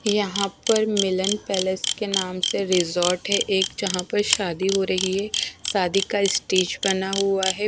यहां पर मिलन पैलेस के नाम से रिजॉर्ट है। एक जहां पर शादी हो रही है। शादी का स्टेज बना हुआ है।